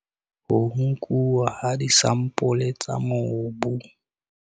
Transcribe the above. Ho nkuwa ha disampole tsa mobu.